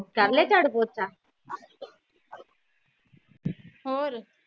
ਕਰਲਿਆ ਚਾਰੂ ਪੋਚਾ